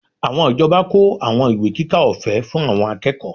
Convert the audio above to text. Àwọn ìjọba kó àwọn ìwé kíkà ọ̀fẹ́ fún àwọn akẹ́kọ̀ọ́